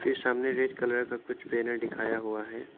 सामने red colour का कुछ बैनर दिखाया हुआ है।